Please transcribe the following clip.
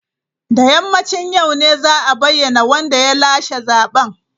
Da yammacin yau ne za a bayyana wanda ya lashe zaben.